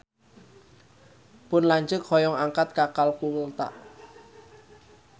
Pun lanceuk hoyong angkat ka Kalkuta